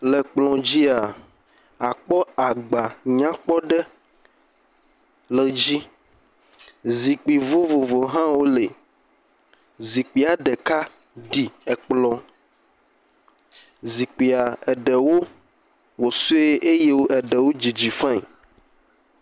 Le kplɔ̃ dzia, akpɔ agba nyakpɔ aɖe le dzi. Zikpui vovovowo hã woli. Zikpuia ɖeka ɖi kplɔ̃. Zikpui ɖewo wɔ sue eye ɖewo didi fain.